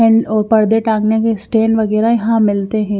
One और पर्दे टांगने के स्टेन वगैरह यहां मिलते हैं।